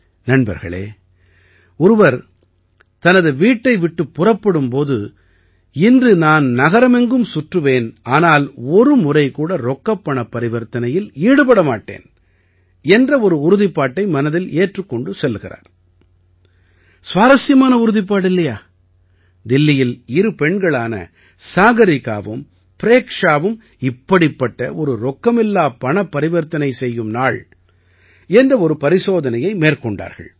நண்பர்களே ஒருவர் தனது வீட்டை விட்டுப் புறப்படும் போது இன்று நான் நகரெங்கும் சுற்றுவேன் ஆனால் ஒருமுறை கூட ரொக்கப்பணப் பரிவர்த்தனையில் ஈடுபட மாட்டேன் என்ற ஒரு உறுதிப்பாட்டை மனதில் ஏற்றிக் கொண்டு செல்கிறார் சுவாரசியமான உறுதிப்பாடு இல்லையா தில்லியில் இரு பெண்களான சாகரிகாவும் ப்ரேக்ஷாவும் இப்படிப்பட்ட ஒரு ரொக்கமில்லாப் பணப்பரிவர்த்தனை செய்யும் நாள் என்ற ஒரு பரிசோதனையை மேற்கொண்டார்கள்